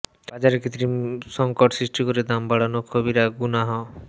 বাজারে কৃত্রিম সঙ্কট সৃষ্টি করে দাম বড়ানো কবিরা গুনাহ